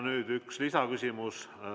Nüüd üks lisaküsimus.